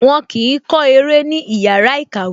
Wọn kì í kọ́ eré ní ìyára ìkàwẹ́